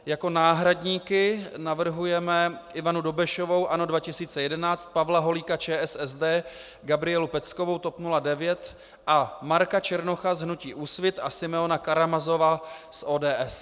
Jako náhradníky navrhujeme Ivanu Dobešovou - ANO 2011, Pavla Holíka - ČSSD, Gabrielu Peckovou - TOP 09 a Marka Černocha z hnutí Úsvit a Simeona Karamazova z ODS.